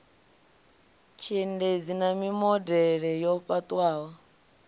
tshiendedzi na mimodele yo fhaṱwaho